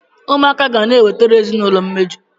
Ụmụaka ga na-ewetara ezinaụlọ mmeju.